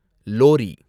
lorry